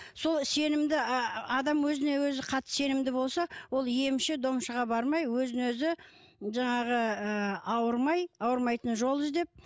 сол сенімді адам өзіне өзі қатты сенімді болса ол емші домшыға бармай өзін өзі жаңағы ы ауырмай ауырмайтын жол іздеп